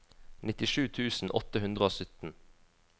nittisju tusen åtte hundre og sytten